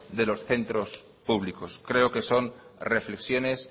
de los centros públicos creo que son reflexiones